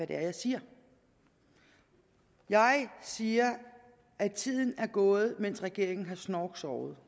det er jeg siger jeg siger at tiden er gået mens regeringen har snorksovet